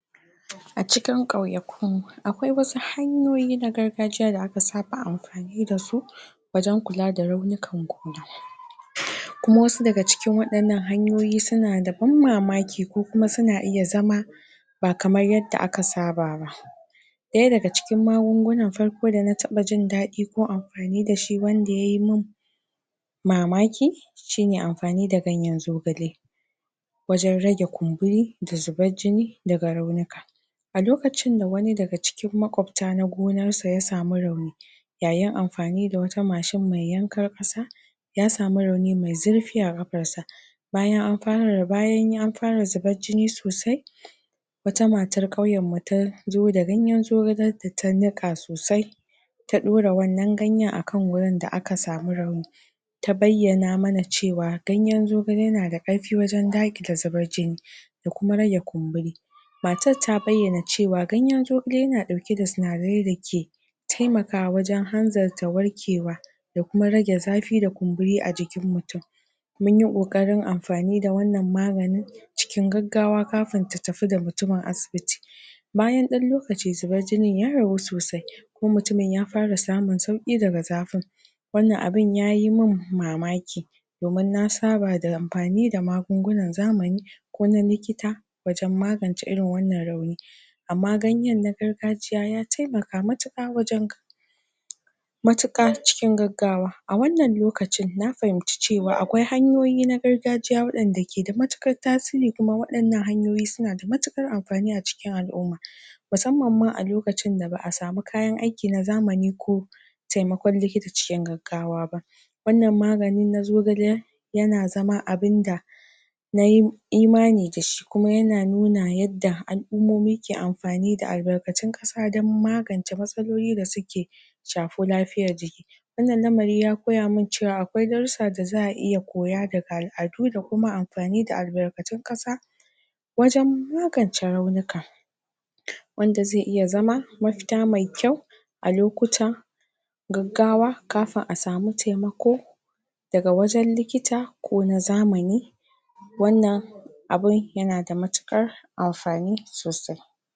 A cikin kauya ku akwai wasu hanyoyi na gargajiya da aka sa ba amfani dasu wajan kula da raunikan gona, kuma wasu daga cikin waɗannan hanyoyi suna da ban mamaki ko kuma suna iya zama ba kamar yadda aka saba ba. Daya daga cikin magungunan farko dana taɓa jindaɗi gun amfani dashi wanda yayi mun mamaki shine ampani da ganyan zogale, wajan rage kumburi da zubar jini daga rauni ka. A lokacin da wani daga cikin makwabta na gonar sa ya samu rauni yayin amfani da wata macin mai yankar ƙasa ya samu rauni mai zirfi a kafar sa, bayan an bayan da zubar jini sosai wata matar kauyan mu tazo da ganyan zogalen ta ta niƙa sosai ta dora wannan ganyan akan wurin da aka samu rauni ta bayyana mana cewa ganyan zogale na da karfi wajan daakile zubar jini da kuma rage kumburi matar ta bayyana cewa ganyan zogale yana ɗauke da sinadarai da ke taimakawa wajan hanzarta warkewa da kuma rage zafi da kumburi a jikin mutum. Munyi koƙarin amfani da wannan magani cikin gaggawa kafin ta tafi da mutumin asibiti. Bayan ɗan lokaci zubar jinin ya ragu sosai kuma mutumin ya fara samun sauƙi daga zafin wannan abin ya yimin mamaki domin na saba da ampani da magungunan zamani ko na likita wajan magance irin wannan rauni amma ganyan na gargajiya ya taimaka matuƙa wajan matuƙa cikin gaggawa. A wannan lokacin na fahimci cewa akwai hanyoyi na gargajiya wanɗanda keda matuƙar tasiri kuma waɗannan hanyoyi suna da matuƙar amfani a cikin al'umma musamman ma a lokacin da ba'a samu kayan aiki na zamani ko taimakon likita cikin gaggawa ba. Wannan magani na zogale yana zama abinda nayi imani dashi kuma yana nuna yadda al'ummomi ke amfani da albarkacin ƙasa dan magance matsaloli da suke shafi lafiyar jiki. Wannan lamari ya koya min cewa akwai darussa da za'a iya koya daga al'adu da kuma amfani da albarkacin ƙasa wajan magance raunika wanda ze iya zama mafita mai ƙyau a lokuta gaggawa kafin a samu taimako daga wajan likita kona zamani wannan abun yana da matuƙar amfani sosai.